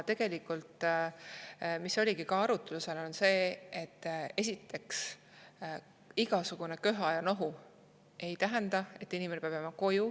Tegelikult oli esiteks arutlusel see, et igasugune köha ja nohu ei tähenda, et inimene peab jääma koju.